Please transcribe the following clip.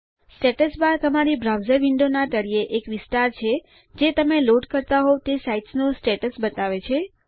status bar તમારી browser window ના તળિયે એક વિસ્તાર છે જે તમે લોડ કરતા હોઉં તે સાઇટ નું સ્ટેટ્સ બતાવે છે